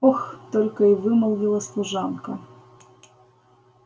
ох только и вымолвила служанка